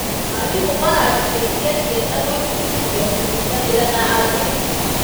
Arimũ maraciteithia ciana gwĩbundithia kũnyitanĩra na angĩ.